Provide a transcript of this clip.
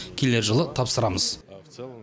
келер жылы тапсырамыз